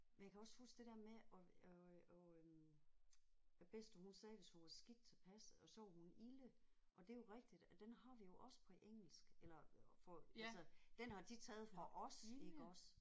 Men jeg kan også huske det der med at at øh at øh at bedste hun sagde hvis hun var skidt tilpas at så var hun ilde og det er jo rigtigt at den har vi jo også på engelsk eller får altså den har de taget fra os iggås